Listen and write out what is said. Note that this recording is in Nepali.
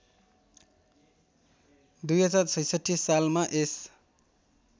२०६६ सालमा यस